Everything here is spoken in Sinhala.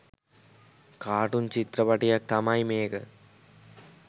කාටූන් චිත්‍රපටියක් තමයි මේක